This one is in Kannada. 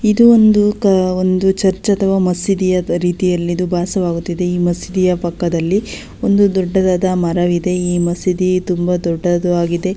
ಇದು ಒಂದು ಕ ಒಂದು ಚರ್ಚ್ ಅಥವಾ ಮಸೀದಿಯ ರೀತಿಯಲ್ಲಿಇದು ಬಾಸವಾಗುತ್ತಿದೆ ಈ ಮಸೀದಿಯ ಪಕ್ಕದಲ್ಲಿ ಒಂದು ದೊಡ್ಡದಾದ ಮರವಿದೆ ಈ ಮಸೀದಿ ತುಂಬಾ ದೊಡ್ಡದು ಆಗಿದೆ.